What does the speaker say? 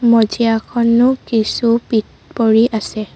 মজিয়াখনো কিছু পিত পৰি আছে।